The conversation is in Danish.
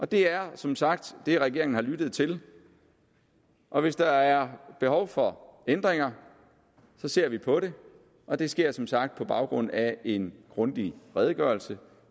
det er som sagt det regeringen har lyttet til og hvis der er behov for ændringer ser vi på det og det sker som sagt på baggrund af en grundig redegørelse